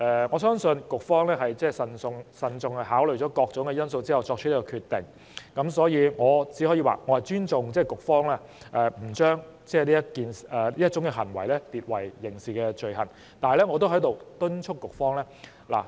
我相信局方是慎重考慮過各種因素後，才作出這個決定，故我會尊重局方不將這種行為列為刑事罪行的決定。